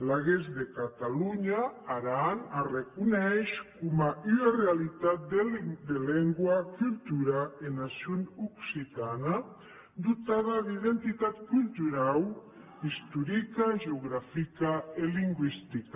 laguens de catalonha aran s’arreconeish coma ua realitat de lengua cultura e nacion occitana dotada d’identitat culturau istorica geografica e lingüistica